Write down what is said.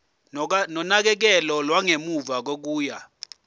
nonakekelo lwangemuva kokuya